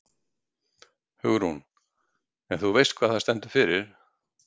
Hugrún: En þú veist hvað það stendur fyrir?